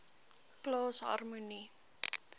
plaas harmonie